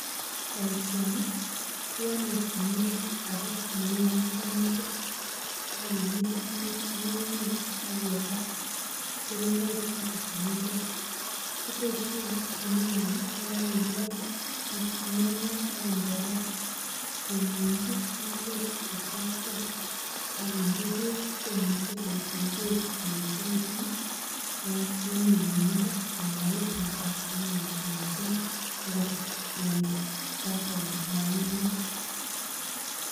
Boisioni keole guniet age neu won bo netit ak kinyiit ng'ung'nyek. Ak kebal keringoik choto che mengech. Kiboisien guniani ye kaging'ol ng'ung'unyek ak mbolea keminchi ngwek che terter ak kinde beek komuche korut ngwek koechekitun en nyumnyumindo komoib nafas mising agot en compound ne ng'ung'et